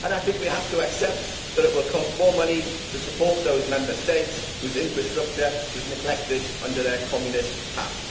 I think that we have to accept that it will cost more money to support those Member States whose infrastructure was neglected in their communist past.